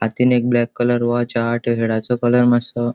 हातीन एक black colour watch हा टी शर्ट कलर मात्सो --